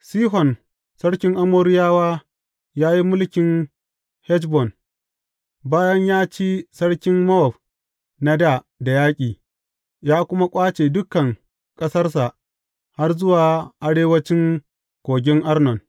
Sihon sarkin Amoriyawa ya yi mulkin Heshbon, bayan ya ci sarkin Mowab na dā da yaƙi, ya kuma ƙwace dukan ƙasarsa har zuwa arewancin kogin Arnon.